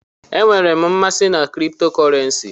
Enwere m mmasị na kripto kọrensi.